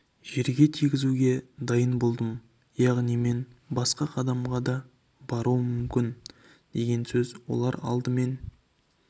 жерге тигізуге дайын болдым яғни мен басқа қадамға да баруым мүмкін деген сөз олар алдымен